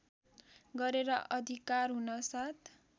गरेर अधिकार हुनासाथ